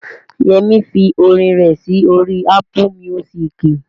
Yẹmí fi orin rẹ̀ sí orí Ápù míúsìkì